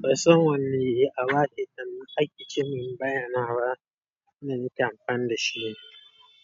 Ban san wanne abu a waƙe can ake cin bayanawa na nake amfani da shi